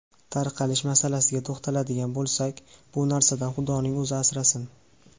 Tarqalish masalasiga to‘xtaladigan bo‘lsak, bu narsadan xudoning o‘zi asrasin.